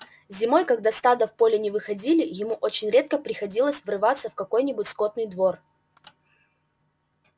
зимой когда стада в поле не выходили ему очень редко приходилось врываться в какой-нибудь скотный двор